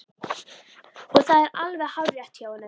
Og það er alveg hárrétt hjá honum.